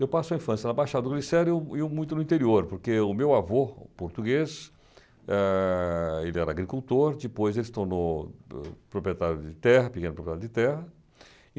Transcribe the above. Eu passo a infância na Baixada do Glicério e e muito no interior, porque o meu avô português, eh ele era agricultor, depois ele se tornou proprietário de terra, pequeno proprietário de terra.